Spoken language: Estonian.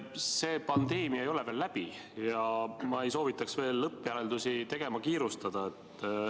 See pandeemia ei ole veel läbi ja ma ei soovitaks veel lõppjäreldusi tegema kiirustada.